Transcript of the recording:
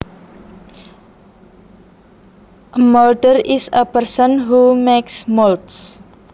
A molder is a person who makes molds